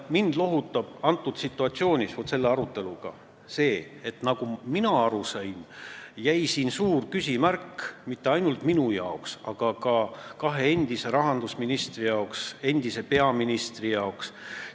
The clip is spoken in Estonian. Mind lohutab antud situatsioonis, selle aruteluga seoses see, et nagu mina aru sain, jäi siin alles suur küsimärk mitte ainult minu jaoks, aga ka kahe endise rahandusministri jaoks ja endise peaministri jaoks.